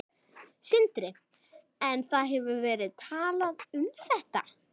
Sindri: En það hefur verið talað um þetta?